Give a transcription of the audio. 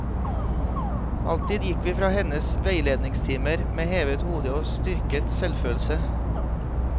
Alltid gikk vi fra hennes veiledningstimer med hevet hode og styrket selvfølelse.